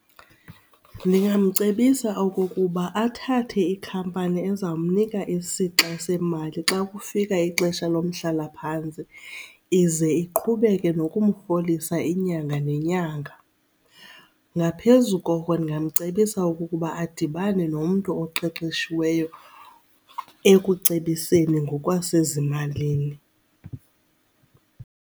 Ndingamcebisa okokuba athathe ikhampani eza mnika isixa semali xa kufika ixesha lomhlalaphantsi, ize iqhubeke nokumrholisa inyanga nenyanga. Ngaphezu koko ndingamcebisa ukuba adibane nomntu oqeqeshiweyo ekucebiseni ngokwasezimalini.